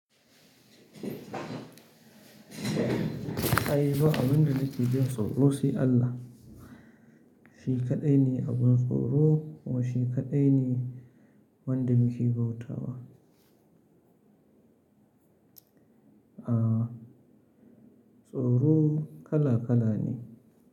Ai ba abin da nake jin tsoro sai Allah. Shi kaɗai ne abun tsoro kuma shi kaɗai ne wanda muke bauta wa. Aah tsoro kala kala ne.